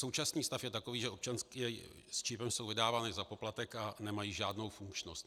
Současný stav je takový, že občanky s čipem jsou vydávány za poplatek a nemají žádnou funkčnost.